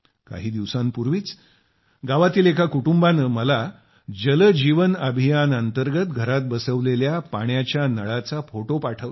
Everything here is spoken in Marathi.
काही दिवसांपूर्वीच गावातील एका कुटूंबाने मला जल जीवन अभियान अंतर्गत घरात बसविलेल्या पाण्याच्या नळाचा फोटो पाठविला